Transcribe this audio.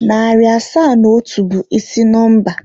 Narị asaa na otu bụ ịsị nọmba.